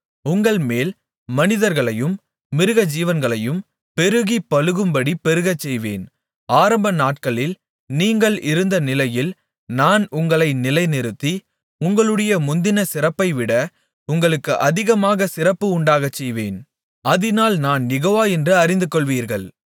உங்கள்மேல் மனிதர்களையும் மிருகஜீவன்களையும் பெருகிப்பலுகும்படி பெருகச்செய்வேன் ஆரம்பநாட்களில் நீங்கள் இருந்த நிலைமையில் நான் உங்களை நிலைநிறுத்தி உங்களுடைய முந்தின சிறப்பைவிட உங்களுக்கு அதிக சிறப்பு உண்டாகச்செய்வேன் அதினால் நான் யெகோவா என்று அறிந்துகொள்வீர்கள்